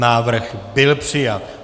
Návrh byl přijat.